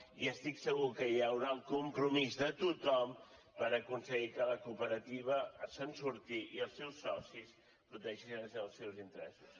i estic segur que hi haurà el compromís de tothom per aconseguir que la cooperativa se’n surti i els seus socis protegeixin els seus interessos